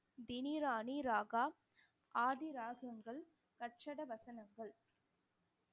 தினிராணி ராகா, ஆதி ராகங்கள் வசனங்கள்